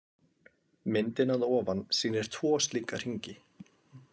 Myndin að ofan sýnir tvo slíka hringi.